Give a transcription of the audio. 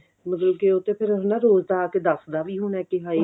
ਮਤਲਬ ਉਹ ਤੇ ਫਿਰ ਰੋਜ ਦਾ ਆਕੇ ਦਾਖਲਾ ਵੀ ਹੋਣਾ ਕੀ ਹਾਏ